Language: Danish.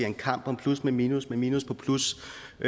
en kamp om plus med minus med minus på plus